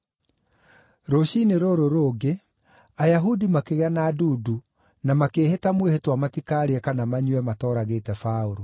Rũciinĩ rũrũ rũngĩ, Ayahudi makĩgĩa na ndundu na makĩĩhĩta mwĩhĩtwa matikaarĩe kana manyue matooragĩte Paũlũ.